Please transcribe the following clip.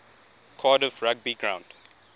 cardiff rugby ground